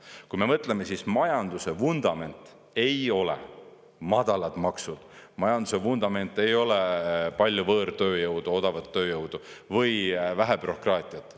Kui me mõtleme, siis majanduse vundament ei ole madalad maksud, majanduse vundament ei ole palju võõrtööjõudu, odavat tööjõudu või vähe bürokraatiat.